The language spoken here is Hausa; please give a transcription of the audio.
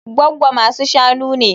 Gwaggo masu-shanu ne